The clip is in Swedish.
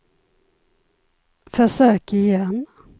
försök igen